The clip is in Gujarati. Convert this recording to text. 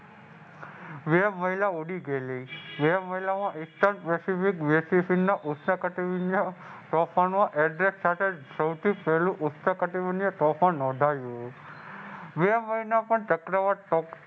બે મહિલા ઊડી ગયેલી બે મહિલામાં એકસઠ તુફાન નોંધાયું.